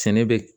Sɛnɛ bɛ